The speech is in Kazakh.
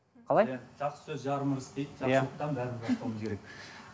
қалай жақсы сөз жарым ырыс дейді иә жақсылықтан бәрін бастауымыз керек